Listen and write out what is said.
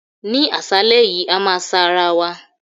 Ní àṣálẹ́ yìí, a máa sa ara wa.